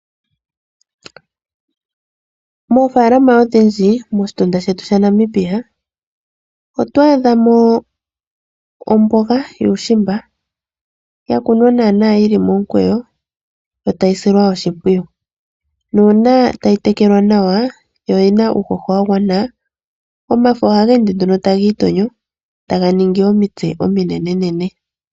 Moofalama odhindji moshitunda shetu sha Namibia, oto adha mo omboga yuushimba yakunwa naana yili momukweyo yo tayi silwa oshimpwiyu, nuuna tayi tekelwa nawa yo oyina uuhoho wa gwana omafo oha geende nduno taga itonyo taga ningi omitse ominenenene.